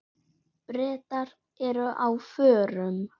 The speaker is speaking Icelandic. Bretar eru á förum.